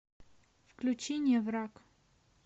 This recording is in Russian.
включи не враг